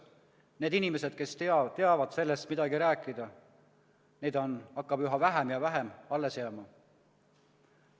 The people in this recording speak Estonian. Neid inimesi, kes teavad sellest midagi rääkida, hakkab üha vähem ja vähem alles jääma.